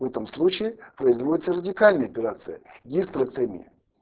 в этом случае производится радикальная операция гистерэктомия